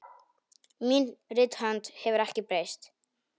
Mín rithönd hefur ekki breyst.